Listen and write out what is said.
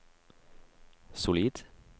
solid